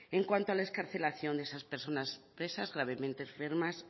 en cuanto a la excarcelación de esas personas presas gravemente enfermas